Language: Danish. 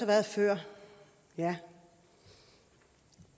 været før ja